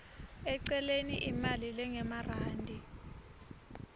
eceleni imali lengemarandi